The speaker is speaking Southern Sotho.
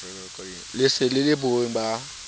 le sele le bohweng ba